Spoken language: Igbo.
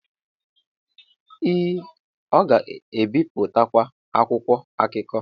ee ọ ga-ebipụtakwu akwụkwọ akụkọ